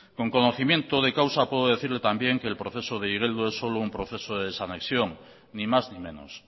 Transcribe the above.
con conocimiento de causa puedo decirle también que el proceso de igeldo es solo un proceso de desanexión ni más ni menos